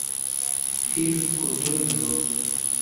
фильм крутой джо